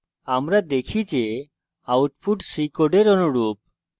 আমরা দেখতে পারি যে output আমাদের c code অনুরূপ